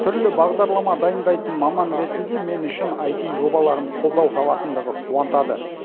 түрлі бағдарлама дайындайтын маман ретінде мен үшін аити жобаларым қолдау табатындығы қуантады